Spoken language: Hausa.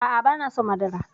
A'a banason madara